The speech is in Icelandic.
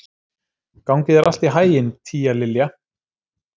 Gangi þér allt í haginn, Tíalilja.